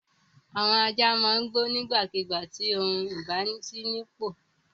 Àwọn ajá máa ń gbó nígbàkigbà tí ohun kò bá sí nípò.